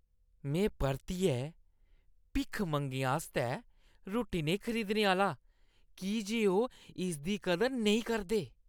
में परतियै भिक्खमंगें आस्तै रुट्टी नेईं खरीदने आह्‌ला की जे ओह् इसदी कदर नेईं करदे ।